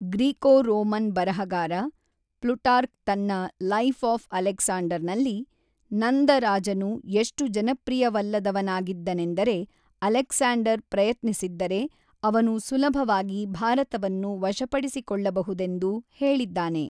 Greco-Roman ಬರಹಗಾರ Plutarch ತನ್ನ 'life of ಅಲೆಕ್ಸಾಂಡರ್‌'ನಲ್ಲಿ, ನಂದ ರಾಜನು ಎಷ್ಟು ಜನಪ್ರಿಯವಲ್ಲದವನಾಗಿದ್ದನೆಂದರೆ ಅಲೆಕ್ಸಾಂಡರ್ ಪ್ರಯತ್ನಿಸಿದ್ದರೆ, ಅವನು ಸುಲಭವಾಗಿ ಭಾರತವನ್ನು ವಶಪಡಿಸಿಕೊಳ್ಳಬಹುದೆಂದು ಹೇಳಿದ್ದಾನೆ.